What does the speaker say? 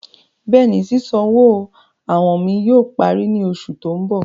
Bẹ́ẹ̀ni, ṣísanwọ́ àwọn mi yóò pàrí ní oṣù tó n bọ̀.